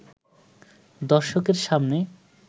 দর্শকের সামনে